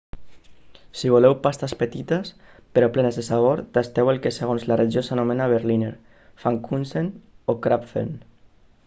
si voleu pastes petites però plenes de sabor tasteu el que segons la regió s'anomena berliner pfannkuchen o krapfen